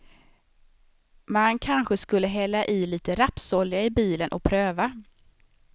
Man kanske skulle hälla i lite rapsolja i bilen och pröva.